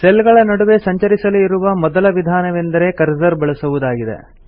cell ಗಳ ನಡುವೆ ಸಂಚರಿಸಲು ಇರುವ ಮೊದಲ ವಿಧಾನವೆಂದರೆ ಕರ್ಸರ್ ಬಳಸುವುದಾಗಿದೆ